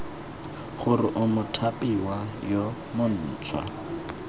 gore o mothapiwa yo montšhwa